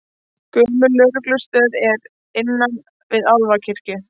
Gömul lögreglustöð er innan við Álfakirkju